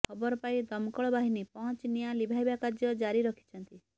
ଖବରପାଇ ଦମକଳ ବାହିନୀ ପହଞ୍ଚି ନିଆଁ ଲିଭାଇବା କାର୍ଯ୍ୟ ଜାରି ରଖିଛନ୍ତି